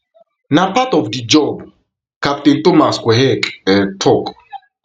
na part of di job captain thomas quehec um tok